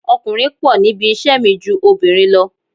Ọkùnrin pọ̀ níbi iṣẹ́ mi ju obìnrin lọ